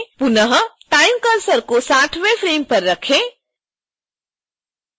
पुनः time cursor को 60